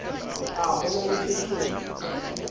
a ho na le sekgeo